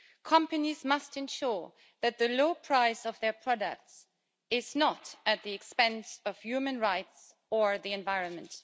Companies must ensure that the low price of their products is not at the expense of human rights or the environment.